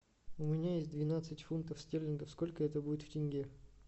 у меня есть двенадцать фунтов стерлингов сколько это будет в тенге